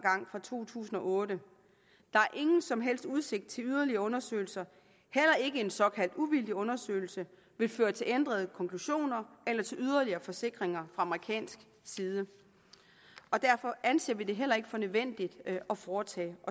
fra to tusind og otte der er ingen som helst udsigt til yderligere undersøgelser heller ikke en såkaldt uvildig undersøgelse vil føre til ændrede konklusioner eller til yderligere forsikringer amerikansk side derfor anser vi det heller ikke for nødvendigt at foretage